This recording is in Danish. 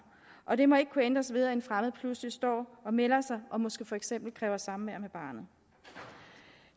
og det må ikke kunne ændres ved at en fremmed pludselig står og melder sig og måske kræver for eksempel samvær med barnet